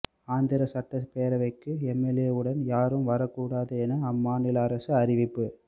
ஆந்திர சட்டப்பேரவைக்கு எம்எல்ஏவுடன் யாரும் வரக்கூடாது என அம்மாநில அரசு அறிவிப்பு